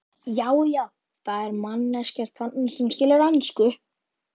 Já, já, það er manneskja þarna sem skilur ensku!